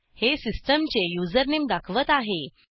हे सिस्टीम चे युझरनेम दाखवत आहे